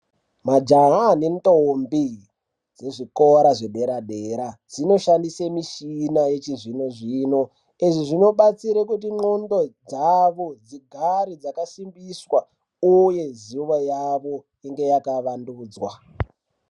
Maja nendombi dzezvikora zvedera-dera dzinoshandise mishina yechizvino-zvino. Izvi zvinobatsire kuti ndxondo dzavo dzigare dzakasimbiswa uye zivo yavo ive yakawandudzwa.